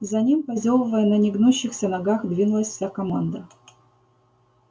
за ним позёвывая на негнущихся ногах двинулась вся команда